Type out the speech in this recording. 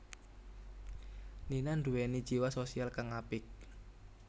Nina nduwèni jiwa sosial kang apik